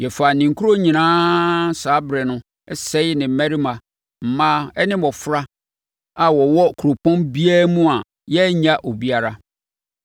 Na yɛfaa ne nkuro nyinaa saa ɛberɛ no sɛee ne mmarima, mmaa ne mmɔfra a wɔwɔ kuropɔn biara mu a yɛannya obiara,